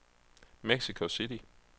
Mexico City